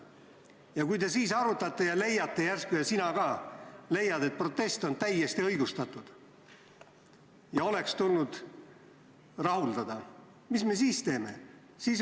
Ja kui te siis arutate ja leiate järsku – ka sina leiad –, et protest oli täiesti õigustatud ja oleks tulnud rahuldada, siis mida me teeme?